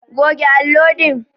Goge allo din!